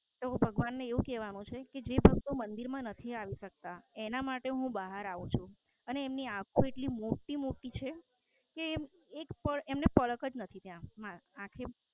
તો ભગવાન નું એવું કહેવાનું છે કે જે ભક્તો મંદિર માં નથી આવી સકતા એમના માટે હું બહાર આવું છું અને એમની આખો એટલી મોટી મોટી છે કે એક પળ એમને પરખ જ નથી ત્યાં આંખ ની